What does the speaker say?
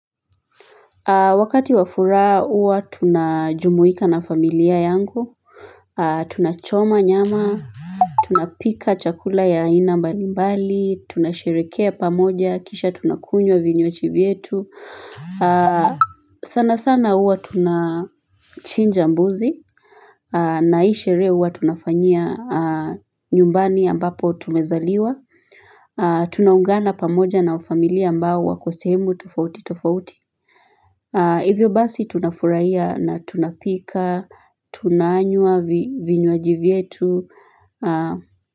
Wakati wa furaha huwa tunajumuika na familia yangu, tunachoma nyama, tunapika chakula ya aina mbali mbali, tunasheherekea pamoja, kisha tunakunywa vinywaji vyetu. Sana sana huwa tuna chinja mbuzi, na hii sherehe huwa tunafanyia nyumbani ambapo tumezaliwa, tunaungana pamoja na familia ambao wako sehemu tofauti tofauti. Hivyo basi tunafurahiya na tunapika, tunanyua vi vinyuaji vietu.